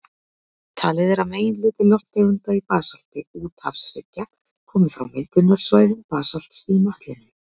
Talið er að meginhluti lofttegunda í basalti úthafshryggja komi frá myndunarsvæðum basalts í möttlinum.